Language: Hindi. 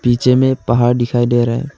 पीछे में पहाड़ दिखाई दे रहा है।